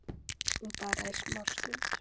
En bara í smá stund.